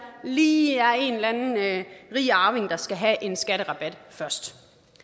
lige er en eller anden rig arving der skal have en skatterabat først